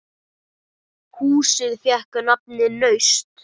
Húsið fékk nafnið Naust.